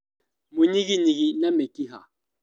Mũnyiginyigi, na mĩkiha